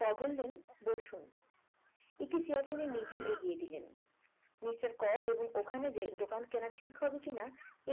ক বললেন বসুন একটি চেয়ার তিনি নিজেই এগিয়ে দিলেন মিস্টার ক এবং ওখানে যে দোকান কেনা ঠিক হবে কিনা